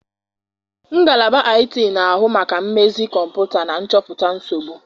Ngalaba IT na-ahụ maka mmezi kọmputa na nchọpụta nsogbu.